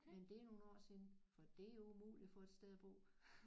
Men det er nogle år siden for det er jo umuligt at få et sted at bo